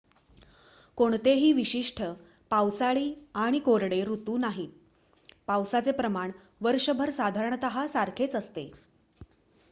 "कोणतेही विशिष्ट "पावसाळी" आणि "कोरडे" ऋतू नाहीत: पावसाचे प्रमाण वर्षभर साधारण सारखेच असते.